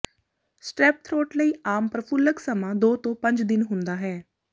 strep throat ਲਈ ਆਮ ਪ੍ਰਫੁੱਲਕ ਸਮਾਂ ਦੋ ਤੋਂ ਪੰਜ ਦਿਨ ਹੁੰਦਾ ਹੈ